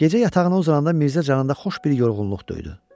Gecə yatağına uzananda Mirzə canında xoş bir yorğunluq döydü.